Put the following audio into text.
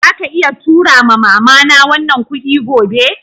Zaka iya tura ma'mama na wannan kudi gobe?